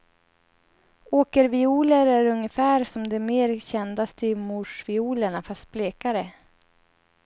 Åkervioler är ungefär som de mer kända styvmorsviolerna fast blekare.